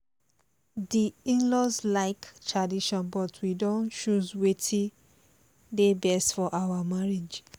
di in-laws like tradition but we don choose wetin dey best for our marriage